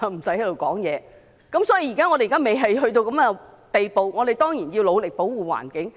所以，既然現在未出現這種情況，我們當然要努力保護環境。